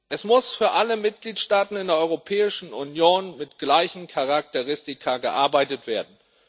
Es muss für alle Mitgliedstaaten in der Europäischen Union mit gleichen Charakteristika gearbeitet werden.